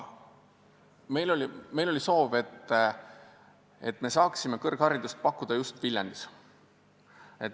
Meil oli soov, et me saaksime kõrgharidust pakkuda just Viljandis.